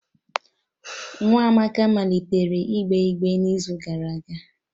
Nwa Amaka malitere igbe igbere n'izu gara aga